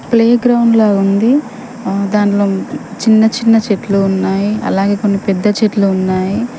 Play ground లా ఉంది. ఆ దాంట్లో చిన్న చిన్న చెట్లు ఉన్నాయి. అలాగే కొన్ని పెద్ద చెట్లు ఉన్నాయి.